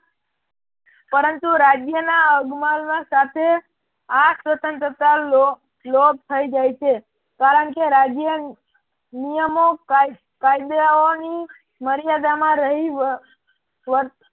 પરંતુ રાજયના અગમાલ સાથે આ સ્વતંત્રતા લો લોભ થઇ જાય છે કારણ કે રાજ્ય નિયમો કાયદાઓની મર્યાદામાં રહી વર્ત